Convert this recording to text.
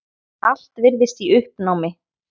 Allt virðist í uppnámi.